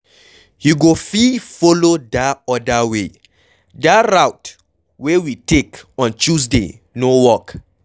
You go fit follow dat other way, dat route wey we take on Tuesday no work.